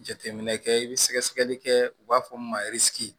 Jateminɛ kɛ i bɛ sɛgɛ sɛgɛli kɛ u b'a fɔ min ma